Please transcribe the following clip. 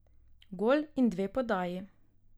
Gol in dve podaji.